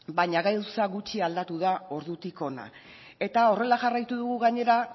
baina gauza gutxi aldatu da ordutik hona eta horrela jarraitu dugu gainera